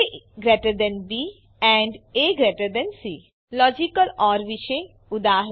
A B A C logical or વિશે ઉદા